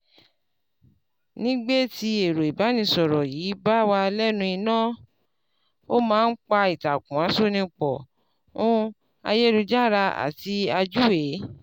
Nígbé tí ẹ̀rọ ìbánisọ̀rọ̀ yìí bá wà lẹ́nu iná, ó má n pa ìtàkùn àṣonipọ̀ ún àyélujára àti àjúwe